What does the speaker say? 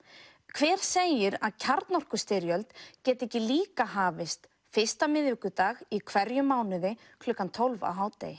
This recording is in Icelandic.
hver segir að kjarnorkustyrjöld geti ekki líka hafist fyrsta miðvikudag í hverjum mánuði klukkan tólf á hádegi